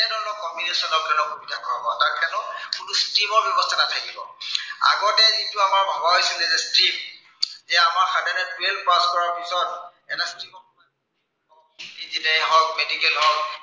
এনে ধৰনৰ combination বিলাক সোমাব। class ten ত কোনো stream ৰ ব্য়ৱস্থা নাথাকিব । আগতে যিটো আমাৰ ভবা হৈছিলে যে stream । এতিয়া আমাৰ সাধাৰণতে twelve pass কৰাৰ পাছত engineer য়েই হওক, medical হওক।